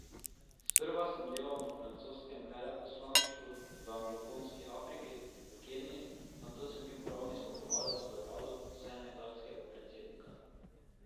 Sprva sem delal na francoskem veleposlaništvu v anglofonski Afriki, v Keniji, nato sem bil pravni svetovalec v uradu senegalskega predsednika.